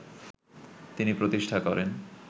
তিনি প্রতিষ্ঠা করেন